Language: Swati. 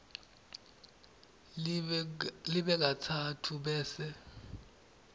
libe katsatfu bese